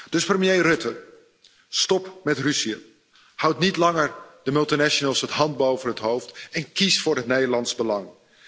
Dus, premier Rutte, stop met ruziën. Houd niet langer de multinationals de hand boven het hoofd en kies voor het Nederlands belang.